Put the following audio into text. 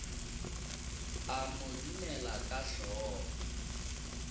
a mo dumela ka hlogo